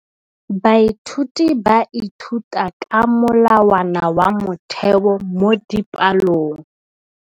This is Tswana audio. Baithuti ba ithuta ka molawana wa motheo mo dipalong.